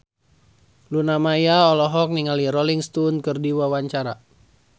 Luna Maya olohok ningali Rolling Stone keur diwawancara